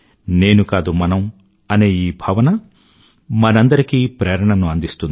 నేను కాదు మనం అనే భావన మనందరికీ ప్రేరణను అందిస్తుంది